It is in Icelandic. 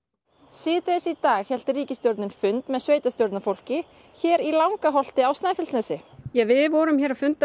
síðdegis í dag hélt ríkisstjórnin fund með sveitarstjórnarfólki hér í Langaholti á Snæfellsnesi við vorum að funda